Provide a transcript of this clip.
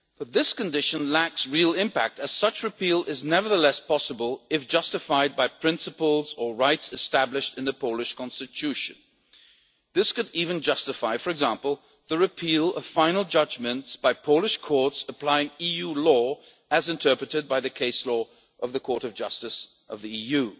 This condition lacks real impact, as such repeal is nevertheless possible if justified by principles or rights established in the Polish Constitution. This could even justify, for example, the repeal of final judgments by Polish courts applying EU law as interpreted by the case law of the Court of Justice of the